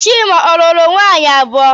Chima o lụrụ nwunye abụọ?